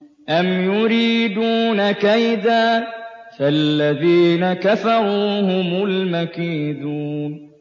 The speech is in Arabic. أَمْ يُرِيدُونَ كَيْدًا ۖ فَالَّذِينَ كَفَرُوا هُمُ الْمَكِيدُونَ